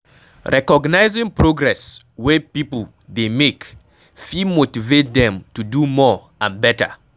Recognizing progress wey pipo dey make fit motivate dem to do more and better